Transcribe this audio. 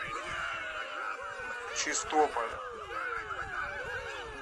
чистополем